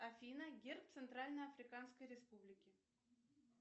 афина герб центральной африканской республики